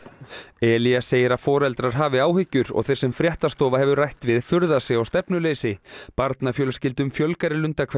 Elías segir að foreldrar hafi áhyggjur og þeir sem fréttastofa hefur rætt við furða sig á stefnuleysi barnafjölskyldum fjölgar í